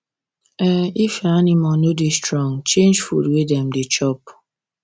um if your animal no da strong change food wey dem da chop